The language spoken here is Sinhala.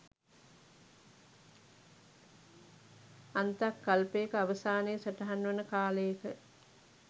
අන්තක් කල්පයක අවසානය සටහන් වන කාලයක